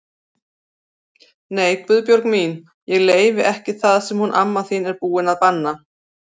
Nei Guðbjörg mín, ég leyfi ekki það sem hún amma þín er búin að banna